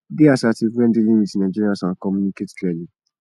dey assertive when dealing with nigerians and communicate clearly